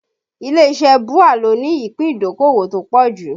Ilé iṣẹ́ BUA ló ní ìpín ìdókòwò tó pọ̀ jù